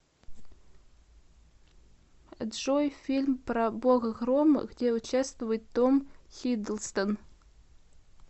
джой фильм про бога грома где участвует том хиддлстон